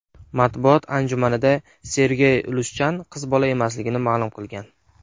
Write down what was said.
Matbuot anjumanida Sergey Lushchan qiz bola emasligini ma’lum qilgan.